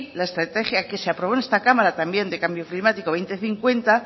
la estrategia que se aprobó en esta cámara también de cambio climático dos mil cincuenta